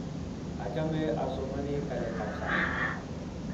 achame asomonii kaleek ab sang